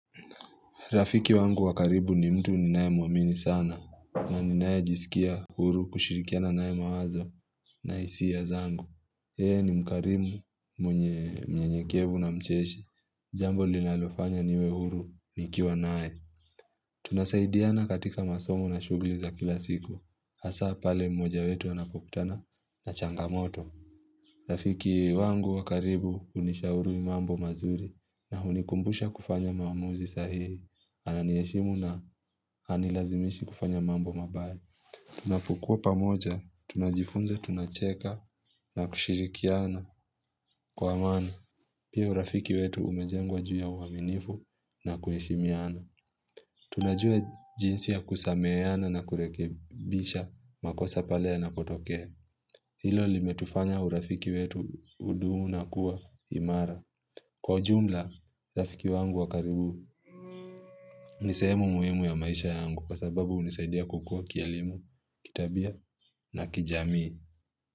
Rafiki wangu wa karibu ni mtu ni naye mwamini sana na ni nayejisikia huru kushirikiana naye mawazo na hisia zangu. Yeye ni mkarimu mwenye mnyenyekevu na mcheshi Jambo linalofanya niwe huru nikiwa naye Tunasaidiana katika masomo na shuguli za kila siku. Hasa pale mmoja wetu anapokutana na changamoto Rafiki wangu wakaribu unishauri mambo mazuri na hunikumbusha kufanya maamuzi sahihi Ananiheshimu na anilazimishi kufanya mambo mabaya Tunapokua pamoja, tunajifunza, tunacheka na kushirikiana kwa amani Pia urafiki wetu umejengwa juu ya uaminifu na kueshimiana Tunajua jinsi ya kusameheana na kurekebisha makosa pale yanapotokea Hilo limetufanya urafiki wetu hudumu na kuwa imara. Kwa ujumla, rafiki wangu wakaribu nisehemu muhimu ya maisha yangu kwa sababu hunisaidia kukua kielimu, kitabia na kijamii.